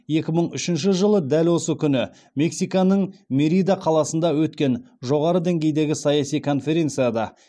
екі мың үшінші жылы дәл осы күні мексиканың мерида қаласында өткен жоғары деңгейдегі саяси конференцияда